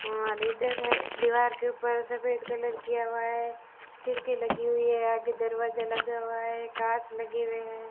और इधर दीवार के ऊपर सफेद कलर की हुआ है खिड़की लगी हुई है आगे दरवाजा लगा हुआ है कांच लगे हुए हैं।